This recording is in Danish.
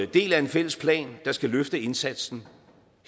del af en fælles plan der skal løfte indsatsen